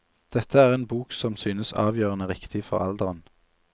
Dette er en bok som synes avgjørende riktig for alderen.